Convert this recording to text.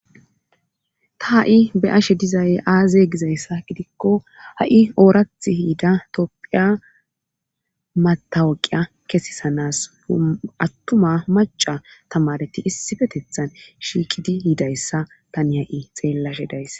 ta ha'i be'ashe dizay aaze gizayssa gidikko ha'i oorath yiida topphiya matawoqiya kesisanas attuma maca tamareti issifetethan shiiqidi yidayssa tani ha'i xeellashe dayiss